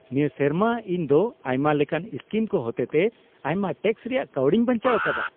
ᱱᱤᱭᱟᱹ ᱥᱮᱨᱢᱟ ᱤᱧ ᱫᱚ ᱟᱭᱢᱟ ᱞᱮᱠᱟᱱ ᱥᱠᱤᱢ ᱠᱚ ᱦᱚᱛᱮᱛᱮ ᱟᱭᱢᱟ ᱴᱮᱠᱥ ᱨᱮᱭᱟᱜ ᱠᱟᱹᱣᱰᱤᱧ ᱵᱟᱧᱪᱟᱣ ᱟᱠᱟᱫᱟ ᱾